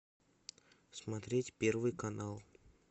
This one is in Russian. смотреть первый канал